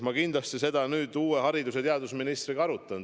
Ma kindlasti seda uue haridus- ja teadusministriga arutan.